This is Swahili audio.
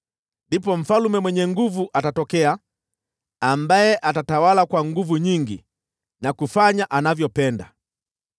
Ndipo mfalme mwenye nguvu atatokea, ambaye atatawala kwa nguvu nyingi na kufanya anavyopenda.